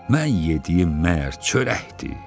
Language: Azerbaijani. Mən yediyim məgər çörəkdir?